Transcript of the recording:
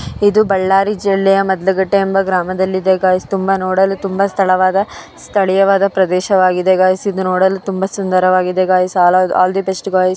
ಇದು ಬಳ್ಳಾರಿ ಜಿಲ್ಲೆಯ ಮದ್ಲು ಗಟ್ಟೆ ಏಂಬ ಗ್ರಾಮದಲ್ಲಿ ಇದೆ. ಗೈಯೆಸ್ ತುಂಬಾ ನೂಡಲು ಸ್ಥಳೀಯವಾದ ಪ್ರದೇಶ ಆಗಿದೆ ಗೈಸ ಇದು ನೂಡಲು ತುಂಬಾ ಸುಂದರವಾಗಿದೆ guys all the best guys .